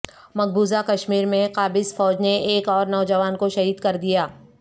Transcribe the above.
مقبوضہ کشمیر میں قابض فوج نے ایک اور نوجوان کو شہید کردیا